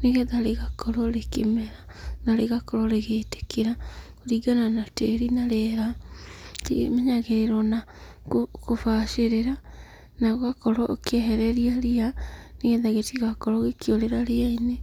nĩgetha rĩgakorwo rĩkĩmera na rĩgakorwo rĩgĩĩtĩkĩra kũringana na tĩri na rĩera rĩmenyagĩrĩrwo na kũbacĩrĩra na ũgakorwo ũkĩehereria ria nĩgetha gĩtigakorwo gĩkĩũrĩra ria-inĩ.